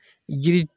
Jiri